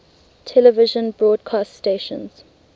television broadcast stations